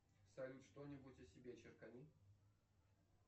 салют что нибудь о себе черкани